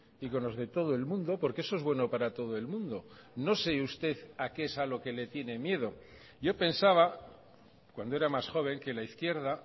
y con los de todo el mundo porque eso es bueno para todo el mundo no sé usted a qué es a lo que le tiene miedo yo pensaba cuando era más joven que la izquierda